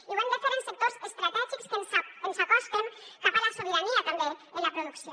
i ho hem de fer en sectors estratègics que ens acosten cap a la sobirania també en la producció